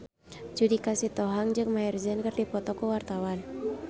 Judika Sitohang jeung Maher Zein keur dipoto ku wartawan